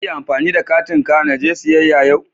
Zan iya amfani da katin ka naje siyayya yau?